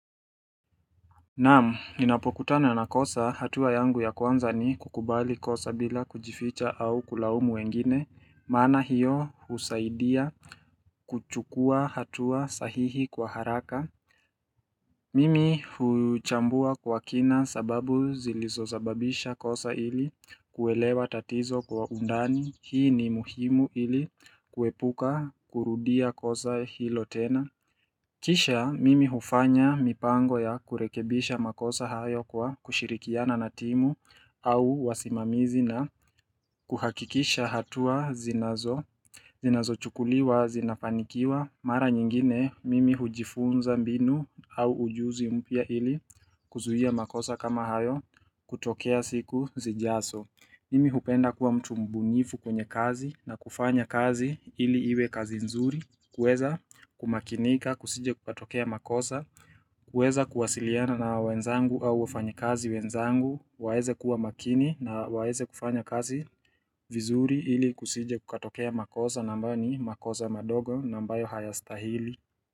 Naam, ninapokutana na kosa hatua yangu ya kwanza ni kukubali kosa bila kujificha au kulaumu wengine, maana hiyo husaidia kuchukua hatua sahihi kwa haraka. Mimi huchambua kwa kina sababu zilizosababisha kosa ili kuelewa tatizo kwa undani, hii ni muhimu ili kuepuka kurudia kosa hilo tena. Kisha mimi hufanya mipango ya kurekebisha makosa hayo kwa kushirikiana na timu au wasimamizi na kuhakikisha hatua zinazo chukuliwa zinafanikiwa mara nyingine mimi hujifunza mbinu au ujuzi mpia ili kuzuia makosa kama hayo kutokea siku zijazo mimi hupenda kuwa mtu mbunifu kwenye kazi na kufanya kazi ili iwe kazi nzuri, kueza kumakinika, kusije kukatokea makoza, kueza kuwasiliana na wenzangu au wafanyakazi wenzangu, waeze kuwa makini na waeze kufanya kazi vizuri ili kusije kukatokea makosa na ambayo ni makosa madogo na ambayo hayastahili.